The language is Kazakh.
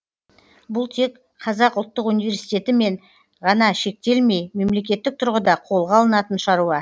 бұл тек қазұу мен ғана шектелмей мемлекеттік тұрғыда қолға алынатын шаруа